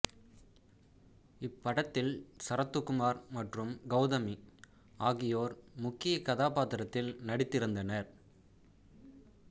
இப்படத்தில் சரத்குமார் மற்றும் கௌதமி ஆகியோர் முக்கிய கதாபாத்திரத்தில் நடித்திருந்தனர்